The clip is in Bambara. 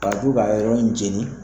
Arajo k'a yɔrɔ min jeni